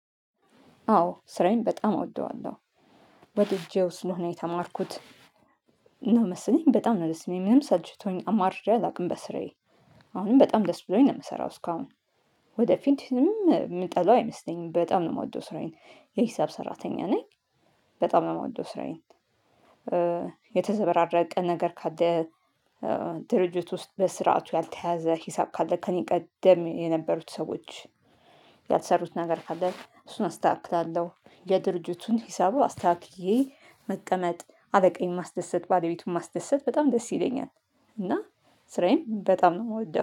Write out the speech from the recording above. አዎ ስራዬን በጣም እወደዋለሁ ወድጄው ስለሆነ የተማርኩት እና መሰለኝ በጣም ነው ደስ የሚል ምንም ሰልችቶኝ አማርሬ አላውቅም በስራዬ። አሁንም በጣም ደስ ብሎኝ ነው የምሰራው እስካሁን። ወደፊትም የምጠላው አይመስለኝም በጣም ነው የምወደው ስራዬን። የሂሳብ ሰራተኛ ነኝ። በጣም ነው የምወደው ስራዬን። የተዘበራረቀ ነገር ካለ ድርጅት ውስጥ በስርዓቱ ያልተያዘ ሂሳብ ካለ ከእኔ ቀደም የነበሩት ሰዎች። ያልሰሩት ነገር ካለ እሱን አስተካክላለሁ የድርጅቱን ሂሳቡ አስተካክዬ። መቀመጥ አለቃዬን ማስደሰት ባለቤቱን ማስደሰት በጣም ደስ ይለኛል። እና ስራዬን በጣም ነው የምወደው